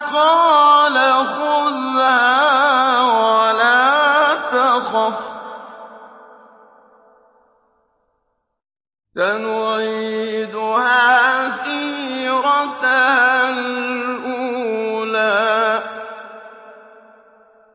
قَالَ خُذْهَا وَلَا تَخَفْ ۖ سَنُعِيدُهَا سِيرَتَهَا الْأُولَىٰ